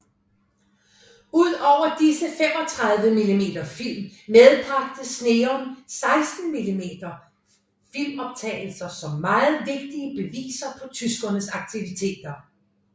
Ud over disse 35 mm film medbragte Sneum 16 mm filmoptagelser som meget vigtige beviser på tyskernes aktiviteter